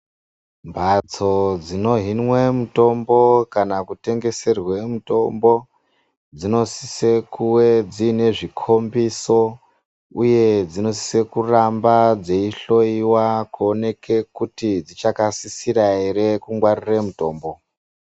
Mphatso dzinohinwe mitombo kanen kutengeserwe mitombo, dzinosise kuwe dziine zvikhombiso, uye dzinosise kutamba dzeihloiwa kuoneke kuti dzichakasisira ere kungwarire mutombo.